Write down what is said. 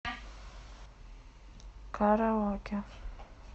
караоке